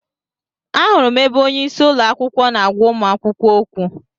Ahụrụ m ebe onyeisi ụlọakwụkwọ na-agwa ụmụ akwụkwọ okwu.